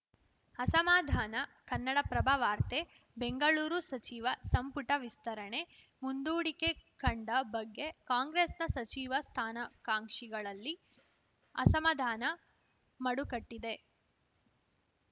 ಅಸಮಾಧಾನ ಕನ್ನಡಪ್ರಭ ವಾರ್ತೆ ಬೆಂಗಳೂರು ಸಚಿವ ಸಂಪುಟ ವಿಸ್ತರಣೆ ಮುಂದೂಡಿಕೆ ಕಂಡ ಬಗ್ಗೆ ಕಾಂಗ್ರೆಸ್‌ನ ಸಚಿವ ಸ್ಥಾನಾಕಾಂಕ್ಷಿಗಳಲ್ಲಿ ಅಸಮಾಧಾನ ಮಡುಕಟ್ಟಿದೆ